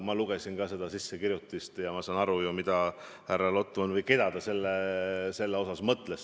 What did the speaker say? Ma lugesin ka seda üleskirjutust ja saan aru ju, keda härra Lotman mõtles.